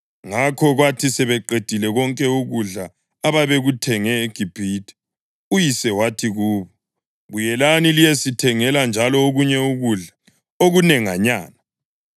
Ngakho kwathi sebekuqedile konke ukudla ababekuthenge eGibhithe, uyise wathi kubo, “Buyelani liyesithengela njalo okunye ukudla okunenganyana.”